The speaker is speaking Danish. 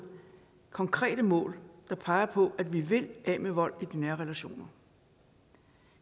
konkrete mål der peger på at vi vil af med vold i nære relationer